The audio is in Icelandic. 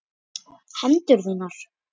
Hendur þínar.